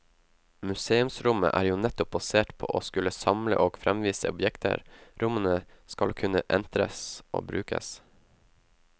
Museumsrommet er jo nettopp basert på å skulle samle og fremvise objekter, rommene skal kunne entres og brukes.